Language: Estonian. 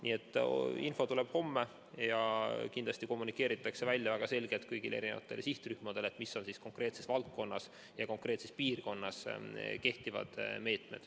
Nii et info tuleb homme ja kindlasti kommunikeeritakse väga selgelt kõigile sihtrühmadele, mis on konkreetses valdkonnas ja piirkonnas kehtivad meetmed.